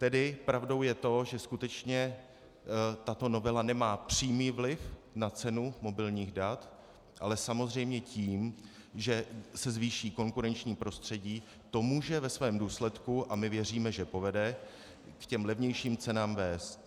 Tedy pravdou je to, že skutečně tato novela nemá přímý vliv na cenu mobilních dat, ale samozřejmě tím, že se zvýší konkurenční prostředí, to může ve svém důsledku - a my věříme, že povede - k těm levnějším cenám vést.